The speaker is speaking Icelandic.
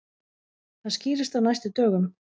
Það skýrist á næstu dögum.